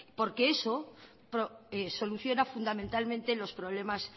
porque eso soluciona fundamentalmente los problemas